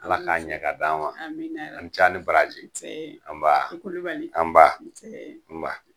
Ala k'a ɲɛ k'a d'an ma. Amina yarabi. A' ni ce a' ni baraji! Nsee! Anbaa! I Kulubali! Nba!